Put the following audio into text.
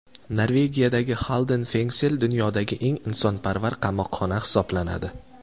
Norvegiyadagi Xalden Fengsel dunyodagi eng insonparvar qamoqxona hisoblanadi.